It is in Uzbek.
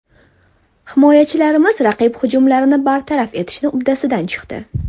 Himoyachilarimiz raqib hujumlarini bartaraf etishni uddasidan chiqdi.